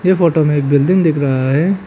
ये फोटो में एक बिल्डिंग दिख रहा है।